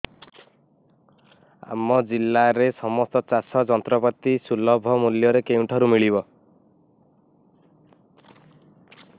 ଆମ ଜିଲ୍ଲାରେ ସମସ୍ତ ଚାଷ ଯନ୍ତ୍ରପାତି ସୁଲଭ ମୁଲ୍ଯରେ କେଉଁଠାରୁ ମିଳିବ